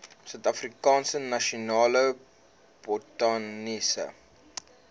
suidafrikaanse nasionale botaniese